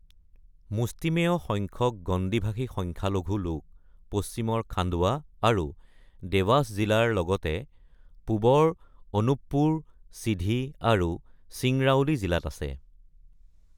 মুষ্টিমেয় সংখ্যক গণ্ডী ভাষী সংখ্যালঘু লোক পশ্চিমৰ খাণ্ডৱা আৰু দেৱাস জিলাৰ লগতে পূবৰ অনুপ্পুৰ, সিধী, আৰু চিংৰাউলী জিলাত আছে।